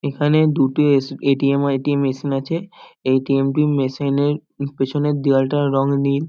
এখানে দুটি এস এ.টি.এম. আর এ.টি.এম. মেশিন আছে এ.টি.এম. টির মেশিন -এর পেছনের দেওয়ালটার রং নীল।